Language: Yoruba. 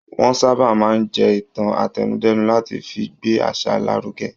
Wọ́n sábà máa ń jé ìtàn àtẹnudẹ́nu láti fi gbé àṣà lárugẹ.